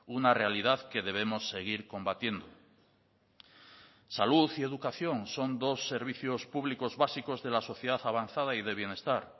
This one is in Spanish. una realidad que debemos seguir combatiendo salud y educación son dos servicios públicos básicos de la sociedad avanzada y de bienestar